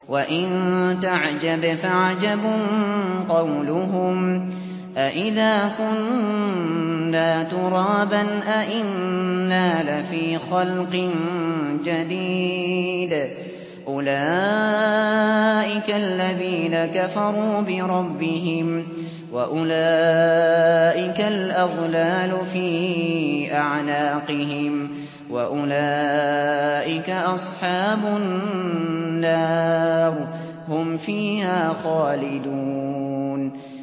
۞ وَإِن تَعْجَبْ فَعَجَبٌ قَوْلُهُمْ أَإِذَا كُنَّا تُرَابًا أَإِنَّا لَفِي خَلْقٍ جَدِيدٍ ۗ أُولَٰئِكَ الَّذِينَ كَفَرُوا بِرَبِّهِمْ ۖ وَأُولَٰئِكَ الْأَغْلَالُ فِي أَعْنَاقِهِمْ ۖ وَأُولَٰئِكَ أَصْحَابُ النَّارِ ۖ هُمْ فِيهَا خَالِدُونَ